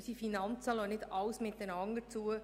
Unsere Finanzen lassen nicht alles miteinander zu.